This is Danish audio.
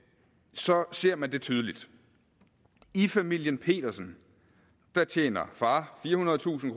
så ser man det tydeligt i familien petersen tjener far firehundredetusind